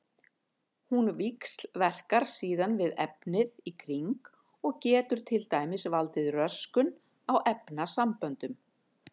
Hún víxlverkar síðan við efnið í kring og getur til dæmis valdið röskun á efnasamböndum.